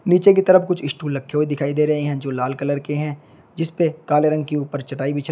पीछे की तरफ कुछ स्टूल रखे हुए दिखाई दे रहे हैं जो लाल कलर के हैं जिसपे काले रंग के ऊपर चटाई बिछाई--